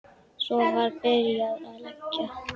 Svo var byrjað að leggja.